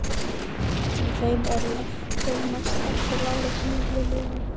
Í þeim er lektin mest eftir láréttum millilögum.